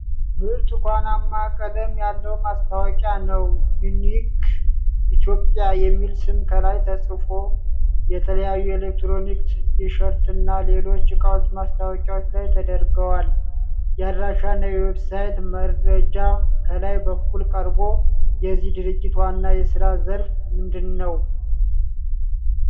ብርቱካንማ ቀለም ያለው ማስታወቂያ ነው። 'ዩኒክ ኢትዮጵያ' የሚል ስም ከላይ ተጽፎ። የተለያዩ ኤሌክትሮኒክስ፣ ቲ-ሸርትና ሌሎች እቃዎች ማስታወቂያው ላይ ተደርገዋል። የአድራሻና የዌብሳይት መረጃ ከላይ በኩል ቀርቦ። የዚህ ድርጅት ዋና የሥራ ዘርፍ ምንድን ነው?